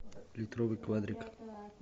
литровый квадрик